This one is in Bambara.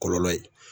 Kɔlɔlɔ ye